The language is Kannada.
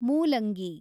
ಮೂಲಂಗಿ